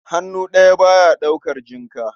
Hannu ɗaya, ba ya ɗaukar jinka.